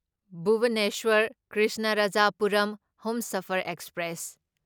Bhubaneswar Krishnarajapuram Humsafar express